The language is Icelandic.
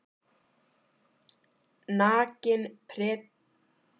Nakin prédikunin og byltingaráróðurinn orkuðu einsog öfugmæli í